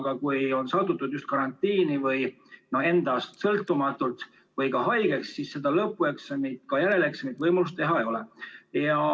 Aga kui on sattutud just karantiini endast sõltumatult või ka haigeks jäädud, siis seda lõpueksamit ja ka järeleksamit võimalik teha ei ole.